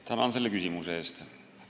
Tänan selle küsimuse eest!